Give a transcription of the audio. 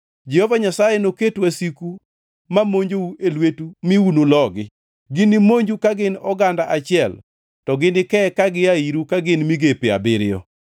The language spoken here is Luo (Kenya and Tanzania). Jehova Nyasaye noket wasiku ma monjou e lwetu mi unulogi. Ginimonju ka gin oganda achiel, to ginike ka gia iru ka gin migepe abiriyo.